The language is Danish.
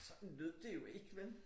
Sådan lød det jo ikke vel